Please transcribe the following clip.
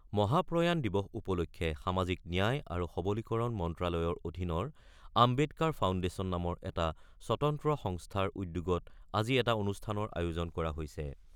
মহাপ্ৰয়াণ দিৱস উপলক্ষে সামাজিক ন্যায় আৰু সবলীকৰণ মন্ত্ৰ্যালয়ৰ অধীনৰ আম্বেদকাৰ ফাউণ্ডেচন নামৰ এটা স্বতন্ত্ৰ সংস্থাৰ উদ্যোগত আজি এটা অনুষ্ঠানৰ আয়োজন কৰা হৈছে।